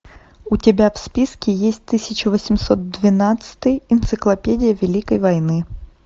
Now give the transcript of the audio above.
у тебя в списке есть тысяча восемьсот двенадцатый энциклопедия великой войны